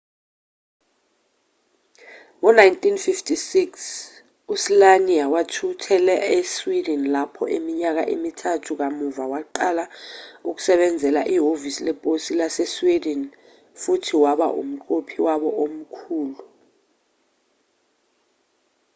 ngo 1956 u-słania wathuthela e-sweden lapho iminyaka emithathu kamuva waqala ukusebenzela ihhovisi leposi lase-sweden futhi waba umqophi wabo omkhulu